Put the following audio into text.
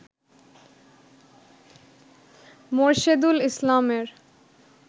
মোরশেদুল ইসলামের